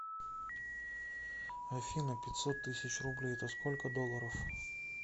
афина пятьсот тысяч рублей это сколько долларов